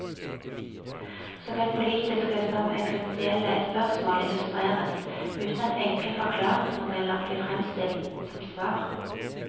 Såvel politiske som eksistensielle spørsmål illustreres, uten at enkle forklaringsmodeller blir fremstilt som svar.